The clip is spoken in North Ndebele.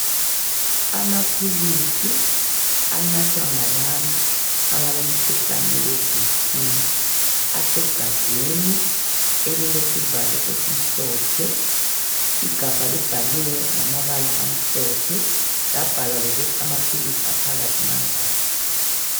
Amaphilisi anathwa ngabantu abalomkhuhlane weBP. Asegabheni elilesivalo esimhlophe. lgabha libhaliwe ngamabsla amhlophe. Labhalwa lokuthi amaphilisi aphakathi mangaki.